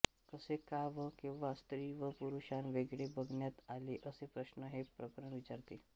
कसे का व केव्हा स्त्री व पुरुषान वेगळे बघण्यात आले असे प्रश्न हे प्रकरण विचारते